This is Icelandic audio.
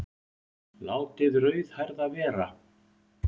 Látið rauðhærða vera